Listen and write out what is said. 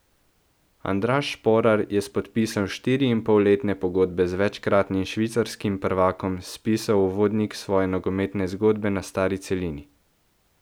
Andraž Šporar je s podpisom štiriinpolletne pogodbe z večkratnim švicarskim prvakom spisal uvodnik svoje nogometne zgodbe na stari celini.